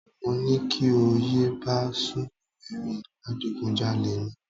Mo ní kí o yé bá Ṣùbòmí rìn, adigunjalè ni